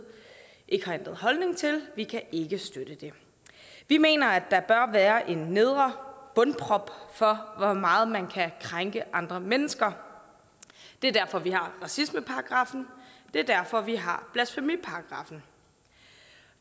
ikke har ændret holdning til vi kan ikke støtte det vi mener at der bør være en bundprop for hvor meget man kan krænke andre mennesker det er derfor vi har racismeparagraffen det er derfor vi har blasfemiparagraffen